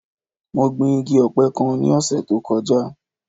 Mo gbin igi ọ̀pẹ kan ní ọ̀sẹ̀ tó kọjá.